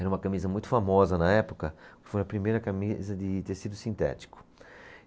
Era uma camisa muito famosa na época, foi a primeira camisa de tecido sintético.